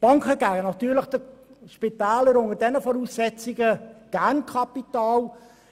Unter diesen Voraussetzungen geben die Banken den Spitälern natürlich gerne Kapital.